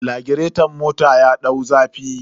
Lagireton mota ya dau zafi.